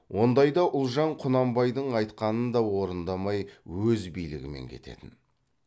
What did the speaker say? ондайда ұлжан құнанбайдың айтқанын да орындамай өз билігімен кететін